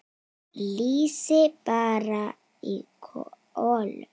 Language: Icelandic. Lýsi brann í kolum.